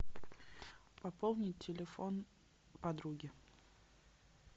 пополни телефон подруги